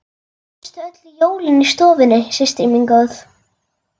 Manstu öll jólin í stofunni systir mín góð.